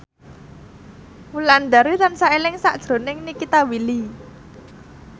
Wulandari tansah eling sakjroning Nikita Willy